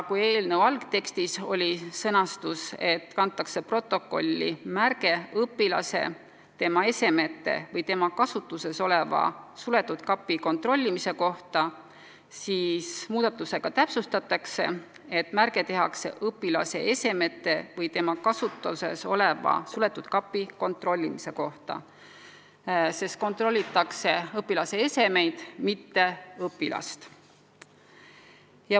Eelnõu algtekstis oli sõnastus, et protokolli kantakse märge õpilase, tema esemete või tema kasutuses oleva suletud kapi kontrollimise kohta, siis muudatusega täpsustatakse, et märge tehakse õpilase esemete või tema kasutuses oleva suletud kapi kontrollimise kohta, sest kontrollitakse õpilase esemeid, mitte õpilast.